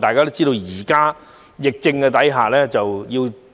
大家都知道，在疫情下